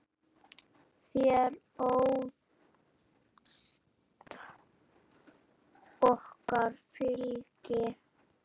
Þér ást okkar fylgi.